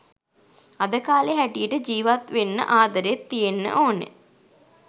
අද කාලේ හැටියට ජීවත් වෙන්න ආදරෙත් තියෙන්න ඕන